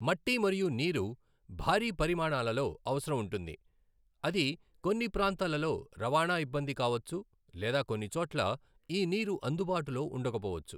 మట్టి మరియు నీరు భారీ పరిమాణాలలో అవసరం ఉంటుంది. అది కొన్ని ప్రాంతాలలో రవాణా ఇబ్బంది కావచ్చు లేదా కొన్నిచోట్ల ఈ నీరు అందుబాటులో ఉండకపోవచ్చు.